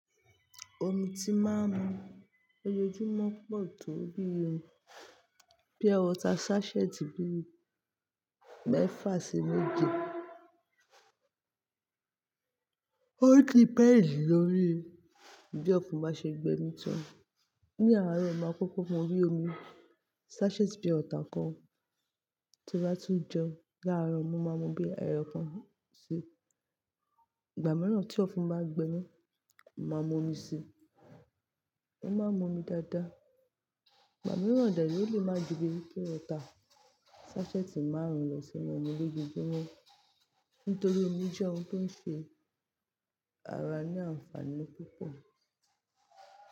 Omi tí máa ń mu lójoojúmọ́ pọ̀ tó bí i bí pure water sachet bíi mẹ́fà sí méje. Ó dependi lòrí bí Ọ̀fun bá ṣe gbemí tó. Ni àárọ̀, mo máa kókó mú bi omi sachet pure water kan tí mo bá tún jẹun Láàárọ̀, mo máa mú bí ẹyọ̀kan ṣi. Ìgbà mìíràn tí Ọ̀fun bá gbemí, mo máa mú omi síi. Mo máa ń mu omi dáadáa. Màmí wàndàlò lè máa di bí i pé ó ta sachet márùn-ún lọ sí inú omi lójoojúmọ́ nítorí omi jẹ́ ohun tó ń ṣe ara ní àǹfààní púpọ̀